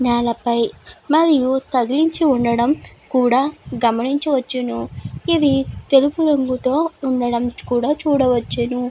నేలపై మరియు తగిలించి ఉండడం కూడా గమనించవచ్చును. ఇది తెలుపు రంగుతో ఉండడం కూడా చూడవచ్చును.